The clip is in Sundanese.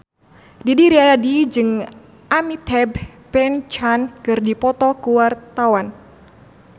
Didi Riyadi jeung Amitabh Bachchan keur dipoto ku wartawan